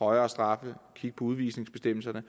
højere straffe kigge på udvisningsbestemmelserne